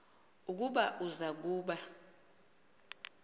ukuba uza kuba